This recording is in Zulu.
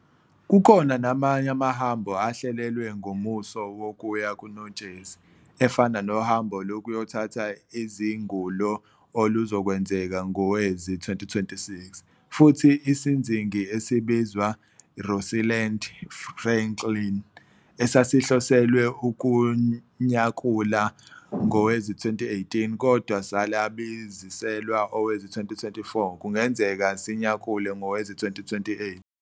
Kukhona namanye amahambo ahlelelwe ngomuso wokuya kuNotshezi, efana nohambo lokuyothatha izangulo oluzokwenzeka ngowezi-2026, futhi isinzingi esibizwa "Rosalind Franklin", esasihloselwe ukunyakula ngowezi-2018 kodwa salibaziselwa owezi-2024, kungenzeka sinyakule ngowezi-2028.